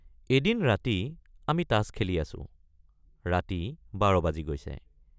এদিন ৰাতি আমি তাচ খেলি আছোঁ ৰাতি ১২ বাজি গৈছে।